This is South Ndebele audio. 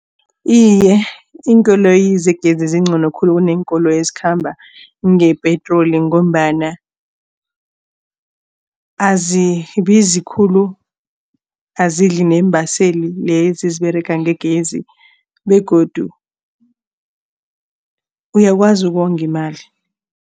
Iye, iinkoloyi zegezi zingcono khulu kuneenkoloyi ezikhamba ngepetroli ngombana azibizi khulu. Azidli neembaseli lezi eziberega ngegezi begodu uyakwazi ukonga imali.